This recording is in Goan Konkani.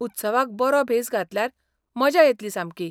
उत्सवाक बरो भेस घातल्यार मजा येतली सामकी.